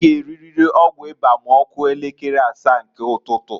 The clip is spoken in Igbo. I g' eririri ọgwụ ịba ma ọkụo elekere asaa nke ụtụtụǃ